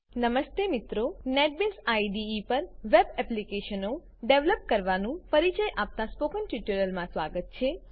નમસ્તે મિત્રો NetBeans IDE NetBeans IDE પર વેબ એપ્લીકેશનો ડેવલપ કરવાનું પરીચય આપતા સ્પોકન ટ્યુટોરીયલમાં સ્વાગત છે